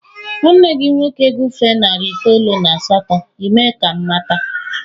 Nwanne gị nwoke gufee narị itoolu n'asato, Ị mee ka m mata.